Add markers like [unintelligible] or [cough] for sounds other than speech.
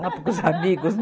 [unintelligible] com os amigos. [laughs]